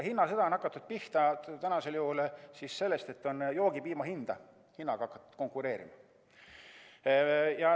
Hinnasõda on hakanud pihta sellest, et joogipiima hinna pärast on hakatud konkureerima.